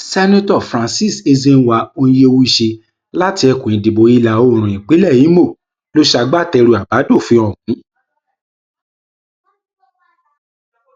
seneto francis ezenwa onyewuchi láti ẹkùn ìdìbò ìlàoòrùn ìpínlẹ ìmọ ló ṣagbátẹrù àbádòfin ọhún